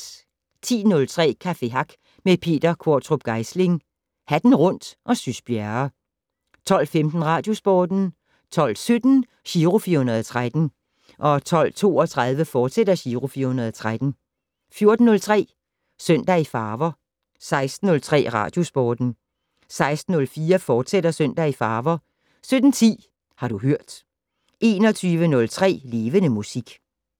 10:03: Café Hack med Peter Qvortrup Geisling, Hatten Rundt og Sys Bjerre 12:15: Radiosporten 12:17: Giro 413 12:32: Giro 413, fortsat 14:03: Søndag i farver 16:03: Radiosporten 16:04: Søndag i farver, fortsat 17:10: Har du hørt 21:03: Levende Musik